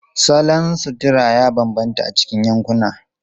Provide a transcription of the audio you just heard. Salon sutura ya bambanta a cikin yankuna.